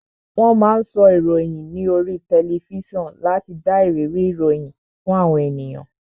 Wón máa ń sọ ìròyìn ní oríi tẹlifísàn láti dá ìrírí ìròyìn fún àwọn ènìyàn